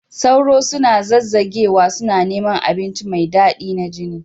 Sauro suna zazzagewa, suna neman abinci mai daɗi na jini